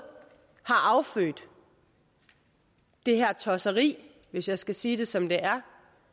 har affødt det her tosseri hvis jeg skal sige det som det er